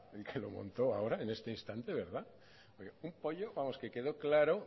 el que lo montó ahora en este instante verdad pero un pollo vamos que quedó claro